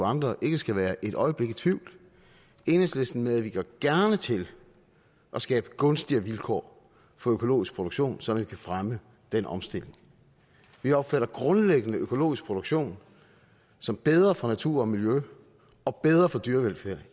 andre ikke skal være et øjeblik i tvivl enhedslisten medvirker gerne til at skabe gunstigere vilkår for økologisk produktion så vi kan fremme den omstilling vi opfatter grundlæggende økologisk produktion som bedre for natur og miljø og bedre for dyrevelfærd